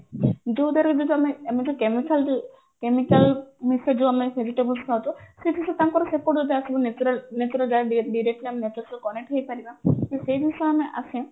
ଆମେ ଯୋଉ chemical ମୁକ୍ତ ଯୋଉ ଆମେ vegetables ଖାଉଛେ ସେ ସବୁ ସେ ତାଙ୍କର ସେପଟୁ ଯାହା ସବୁ natural connect ହେଇପାରିବା ସେଇ ଜିନିଷ ଆମେ ଆସେ